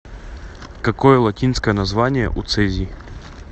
какой латинское название у цезий